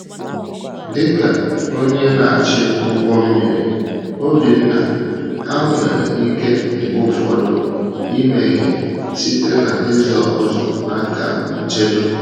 Dị ka onye na-achị ụgbọ mmiri, Obinna, ha nwere ike mgbe ụfọdụ imehie site n’ịzọ ụzọ n’aka nchedo.